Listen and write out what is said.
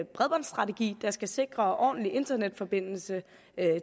bredbåndsstrategi der skal sikre ordentlig internetforbindelse